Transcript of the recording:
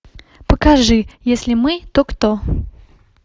покажи если мы то кто